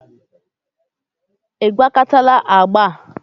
ị gwakọtala agba?